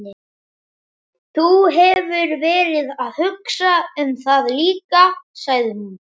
Þú hefur verið að hugsa um það líka, sagði hún.